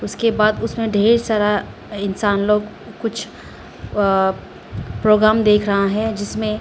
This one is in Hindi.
के बाद उसमें ढेर सारा इंसान लोग कुछ अअ प्रोग्राम देख रहा है जिसमें--